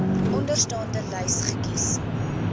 onderstaande lys kies